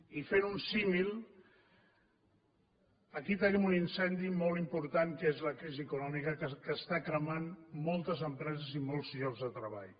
i fent un símil aquí tenim un incendi molt important que és la crisi econòmica que està cremant moltes empreses i molts llocs de treball